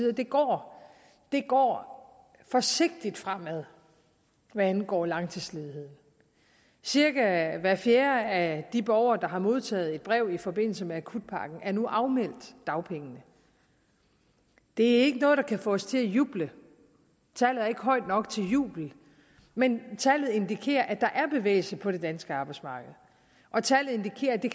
at det går det går forsigtigt fremad hvad angår langtidsledigheden cirka hver fjerde af de borgere der har modtaget et brev i forbindelse med akutpakken er nu afmeldt dagpengene det er ikke noget der kan få os til at juble tallet er ikke højt nok til jubel men tallet indikerer at der er bevægelse på det danske arbejdsmarked og tallet indikerer at det